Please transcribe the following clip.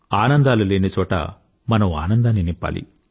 ఆనందాలు లేని చోట మనం ఆనందాన్ని నింపాలి